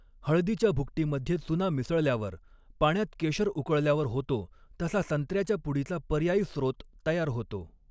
हळदीच्या भुकटीमध्ये चुना मिसळल्यावर, पाण्यात केशर उकळल्यावर होतो, तसा संत्र्याच्या पुडीचा पर्यायी स्रोत तयार होतो.